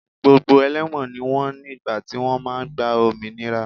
Gbogbo ẹlẹ́wọ̀n ni wọ́n ní ìgbà tí wọ́n máa gba òmìnira